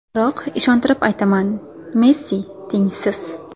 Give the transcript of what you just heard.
Biroq ishontirib aytaman: Messi tengsiz.